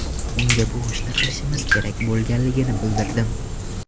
Unga bu ishni qilishimiz kerak bo‘lganligini bildirdim.